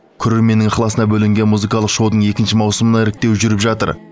көрерменнің ықыласына бөленген музыкалық шоудың екінші маусымына іріктеу жүріп жатыр